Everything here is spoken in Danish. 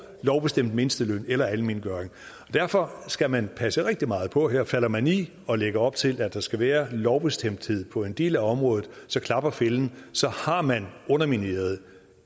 lovbestemt mindsteløn eller almengøring og derfor skal man passe rigtig meget på her falder man i og lægger op til at der skal være lovbestemthed på en del af område så klapper fælden så har man undermineret